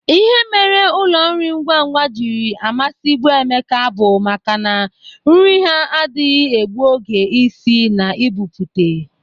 Ihe mere ụlọ nri ngwangwa jiri amasịbụ Emeka bụ maka na nri ha adịghị egbu oge isi na ibụpute.